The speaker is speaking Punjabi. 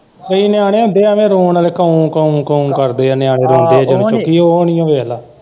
ਕਈ ਨਿਆਣੇ ਹੁੰਦੇ ਐਵੇ ਰੌਣ ਆਲੇ ਕੰਅੂ ਕੰਅੂ ਕੰਅੂ ਕਰਦੇ ਐ ਨਿਆਣੇ ਰੌਦੇ ਜਦੋਂ ਓ ਨੀ ਵੇਖਲਾ।